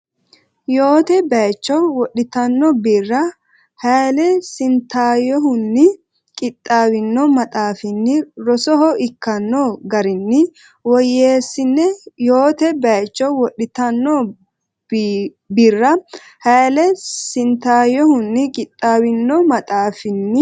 Yoote baycho wodhitanno Birra Hayle Sintaayyohunni qixxaawino maxaafinni rosoho ikkanno garinni woyyeessine Yoote baycho wodhitanno Birra Hayle Sintaayyohunni qixxaawino maxaafinni.